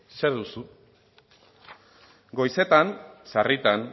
zer duzu goizetan sarritan